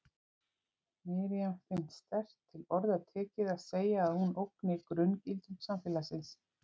Miriam finnst sterkt til orða tekið að segja að hún ógni grunngildum samfélagsins.